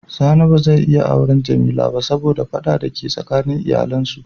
Sani ba za ya iya awren Jamila ba saboda fada da ke tsakanin iyalin su.